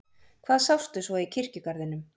Hvað sástu svo í kirkjugarðinum?